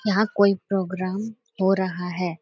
यहाँ कोई प्रोग्राम हो रहा है।